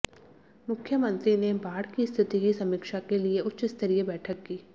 मुख्यमंत्री ने बाढ की स्थिति की समीक्षा के लिए उच्च स्तरीय बैठक की